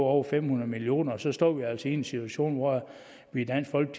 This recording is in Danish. over fem hundrede million og så står vi altså i en situation hvor vi